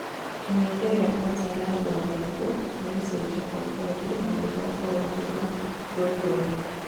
kĩmenyithia gia kansa ya rwariũngũ nĩ gũcenjia kwa ngothi na maitho gũkorwo marĩ ma ngoikoni